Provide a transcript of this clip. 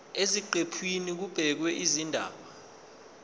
eziqephini kubhekwe izindaba